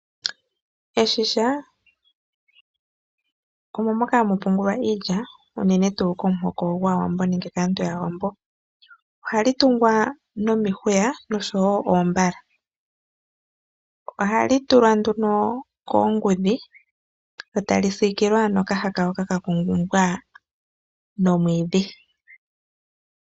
Eshisha omo moka hamu pungulwa iilya uunene tuu komuhoko gwawambo nenge nditye kaantu yawambo. Ohali tungwa nomihuya noshowo oombala. Ohali tulwa nduno koongudhi lyo tali sikilwa noka haka hoka kakumbwa nomwiidhi.